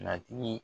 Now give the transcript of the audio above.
Nati